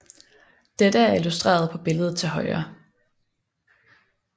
Dette er illustreret på billedet til højre